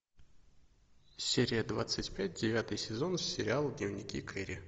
серия двадцать пять девятый сезон сериала дневники кэрри